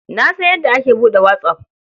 Na san yadda ake buɗe whatsApp.